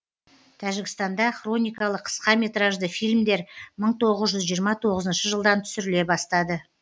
тәжікстанда хроникалы қысқа метражды фильмдер мың тоғыз жүз жиырма тоғызыншы жылдан түсіріле бастады